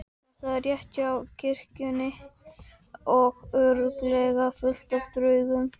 Þetta er rétt hjá kirkjunni og örugglega fullt af draugum.